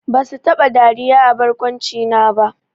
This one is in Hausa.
Basu taba dariya a barkwancina ba!